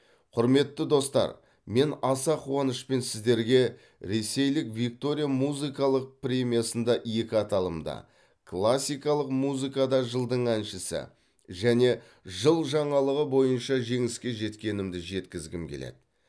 құрметті достар мен аса қуанышпен сіздерге ресейлік виктория музыкалық премиясында екі аталымда классикалық музыкада жылдың әншісі және жыл жаңалығы бойынша жеңіске жеткенімді жеткізгім келеді